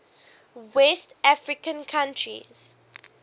west african countries